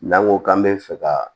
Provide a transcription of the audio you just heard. N'an ko k'an bɛ fɛ ka